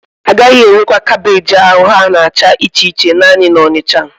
Agaghị erekwa kaabéji ahụ ha na-acha iche iche naanị na Onitsha